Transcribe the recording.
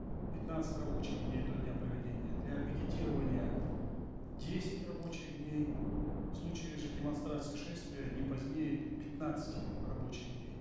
пятнадцать рабочих дней до дня проведения для пикетирования десять рабочих дней в случае же демонстрации шествия не позднее пятнадцати рабочих дней